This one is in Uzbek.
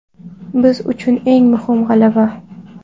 Biz uchun eng muhim g‘alaba.